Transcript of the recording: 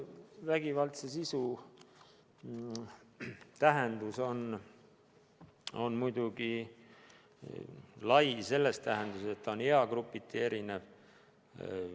Vägivaldse sisu tähendus on muidugi lai selles mõttes, et ta on eagrupiti erinev.